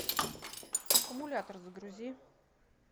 аккумулятор загрузи